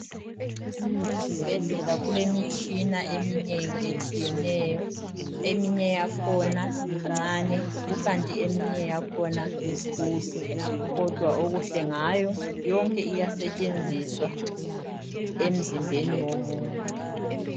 ezibhedlela kulemitshina eminengi etshiyeneyo eminye yakhona imncane kukanti eminye yakhona mikhulu kodwa emihle ngayo yonke iyasetshenziswa emzimbeni yomuntu